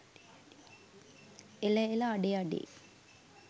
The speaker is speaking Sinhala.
එල එලඅඩේ අඩේ